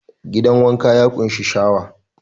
Gidan wanka ya ƙunshi shawa.